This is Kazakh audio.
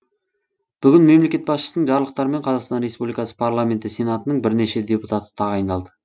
бүгін мемлекет басшысының жарлықтарымен қазақстан республикасы парламенті сенатының бірнеше депутаты тағайындалды